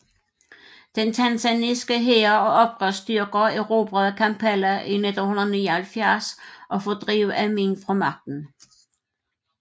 Den tanzaniske hær og oprørsstyrker erobrede Kampala i 1979 og fordrev Amin fra magten